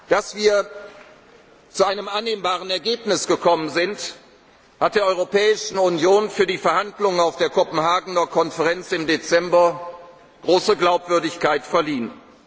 gesetzt. Dass wir zu einem annehmbaren Ergebnis gekommen sind, hat der Europäischen Union für die Verhandlungen auf der Kopenhagener Konferenz im Dezember große Glaubwürdigkeit verliehen.